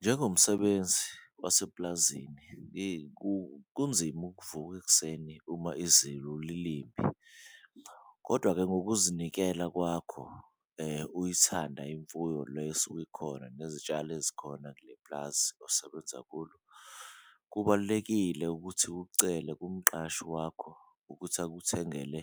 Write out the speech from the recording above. Njengomsebenzi wasepulazini yeyi kunzima ukuvuka ekuseni uma lilibi kodwa-ke ngokuzinikela kwakho, uyithanda imfuyo le esuke ikhona nezitshalo ezikhona kule pulazi osebenza kulo. Kubalulekile ukuthi ucele kumqashi wakho ukuthi akuthengele